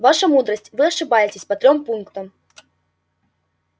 ваша мудрость вы ошибаетесь по трём пунктам